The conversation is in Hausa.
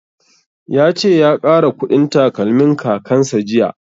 Ya ce ya ƙara ƙudin takalmin kakan sa jiya